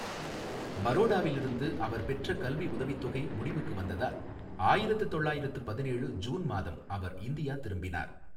பரோடாவில் இருந்து அவர் பெற்ற கல்வி உதவித் தொகை முடிவுக்கு வந்ததால் ஆயிரத்து தொள்ளாயிரத்து பதினேழு ஜூன் மாதம் அவர் இந்தியா திரும்பினார்.